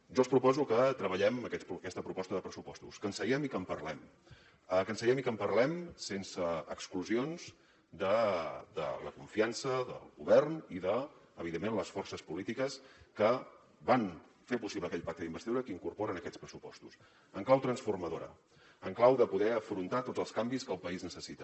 jo els proposo que treballem aquesta proposta de pressupostos que seiem i que en parlem que seiem i que parlem sense exclusions de la confiança del govern i de evidentment les forces polítiques que van fer possible aquell pacte d’investidura que incorpora en aquests pressupostos en clau transformadora en clau de poder afrontar tots els canvis que el país necessita